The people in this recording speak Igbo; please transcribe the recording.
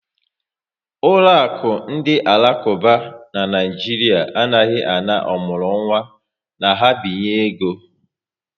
Ụlọakụ ndị alakuba n' Naijiria anaghị ana ọmụrụnwa na ha binye ego